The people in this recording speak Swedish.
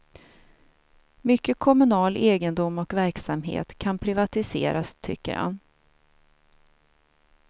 Mycket kommunal egendom och verksamhet kan privatiseras, tycker han.